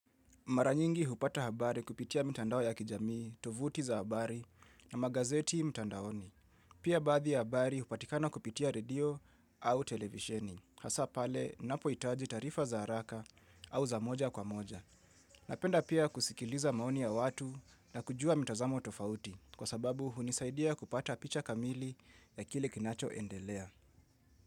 Maranyingi hupata habari kupitia mitandao ya kijamii, tovuti za habari na magazeti mtandaoni. Pia baadhi ya habari hupatikana kupitia radio au televisheni. Hasapale, ninapo hitaji taarifa za haraka au za moja kwa moja. Napenda pia kusikiliza maoni ya watu na kujua mitazamo tofauti. Kwa sababu hunisaidia kupata picha kamili ya kile kinacho endelea.